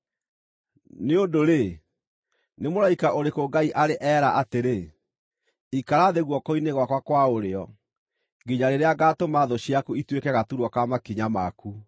Nĩ ũndũ-rĩ, nĩ mũraika ũrĩkũ Ngai arĩ eera atĩrĩ, “Ikara thĩ guoko-inĩ gwakwa kwa ũrĩo, nginya rĩrĩa ngaatũma thũ ciaku ituĩke gaturwa ka makinya maku”?